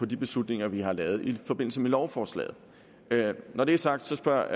de beslutninger vi har lavet i forbindelse med lovforslaget når det er sagt spørger